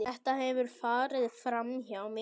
Þetta hefur farið framhjá mér!